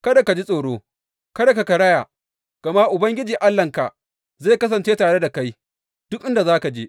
Kada ka ji tsoro; kada ka karaya, gama Ubangiji Allahnka zai kasance tare da kai duk inda za ka je.